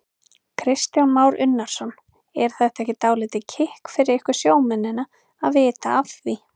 Kristján Már Unnarsson: Er það ekki dálítið kikk fyrir ykkur sjómennina að vita af því?